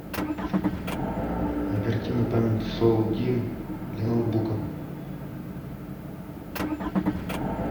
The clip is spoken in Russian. оперативная память соул димм для ноутбука